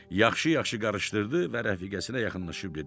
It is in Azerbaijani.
Yaxşı-yaxşı qarışdırdı və rəfiqəsinə yaxınlaşıb dedi: